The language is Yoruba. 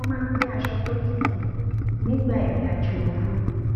mo máa ń gbé aṣọ tó tutù nígbà ìrìn àjò ooru